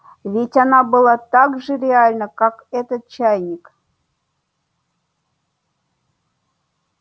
ведь она была так же реальна как этот чайник